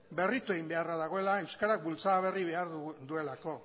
berritu egin beharra dagoela euskarak bultzada berri behar duelako